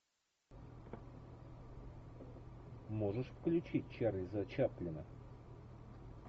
можешь включить чарльза чаплина